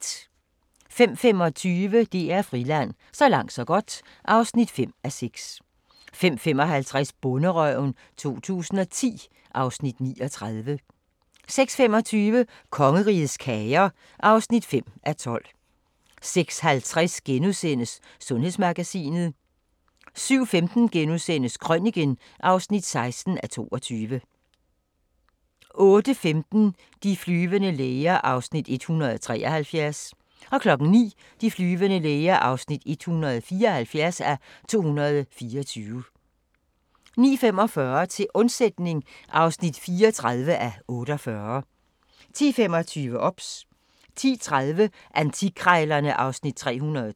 05:25: DR Friland: Så langt så godt (5:6) 05:55: Bonderøven 2010 (Afs. 39) 06:25: Kongerigets kager (5:12) 06:50: Sundhedsmagasinet * 07:15: Krøniken (16:22)* 08:15: De flyvende læger (173:224) 09:00: De flyvende læger (174:224) 09:45: Til undsætning (34:48) 10:25: OBS 10:30: Antikkrejlerne (Afs. 312)